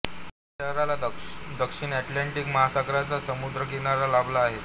या शहराला दक्षिण अटलांटिक महासागराचा समुद्रकिनारा लाभला आहे